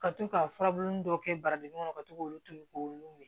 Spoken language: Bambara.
Ka to ka furabulu dɔ kɛ baradennin kɔnɔ ka to k'olu to ye k'olu weele